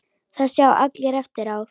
Það sjá allir eftir á.